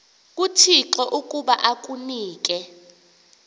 kuthixo ukuba akunike